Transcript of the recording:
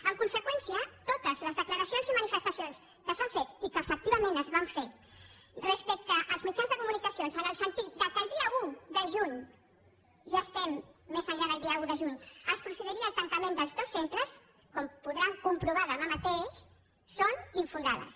en conseqüència totes les declaracions i manifestacions que s’han fet i que efectivament es van fer als mitjans de comunicació en el sentit que el dia un de juny ja estem més enllà del dia un de juny es procediria al tancament de tots dos centres com podran comprovar demà mateix són infundades